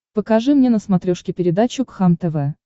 покажи мне на смотрешке передачу кхлм тв